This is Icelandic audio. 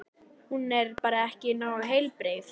Hún er bara ekki nógu heilbrigð.